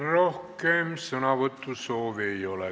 Rohkem sõnavõtusoove ei ole.